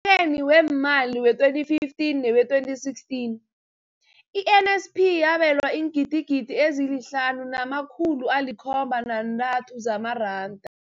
eni weemali we-2015 ne we-2016, i-NSNP yabelwa iingidigidi ezi-5 703 zamaranda.